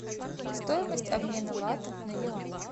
стоимость обмена лата на юани